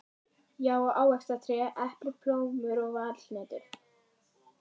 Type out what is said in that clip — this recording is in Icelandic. Já, og ávaxtatré: epli, plómur og valhnetur.